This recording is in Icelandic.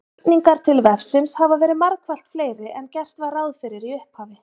Spurningar til vefsins hafa verið margfalt fleiri en gert var ráð fyrir í upphafi.